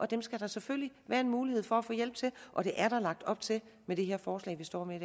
den skal der selvfølgelig være en mulighed for at få hjælp og det er der lagt op til med det her forslag vi står med